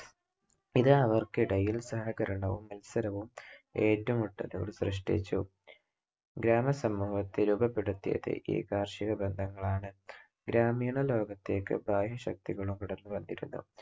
ഇത് അവർക്കിടയിൽ സഹകരണവും മത്സരവും ഏറ്റുമുട്ടലുകളും സൃഷ്ട്ടിച്ചു. ഗ്രാമ സമൂഹത്തെ രൂപപ്പെടുത്തിയത് ഈ കാർഷിക ബന്ധങ്ങളാണ്. ഗ്രാമീണ ലോകത്തേക്ക് ബാഹ്യശക്തികളും കടന്നുവന്നിരുന്നു.